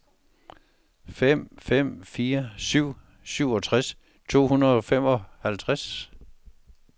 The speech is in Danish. fem fem fire syv seksogtres to hundrede og femoghalvtreds